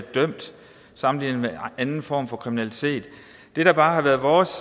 sammenlignet med anden form for kriminalitet det der bare har været vores